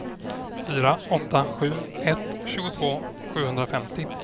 fyra åtta sju ett tjugotvå sjuhundrafemtio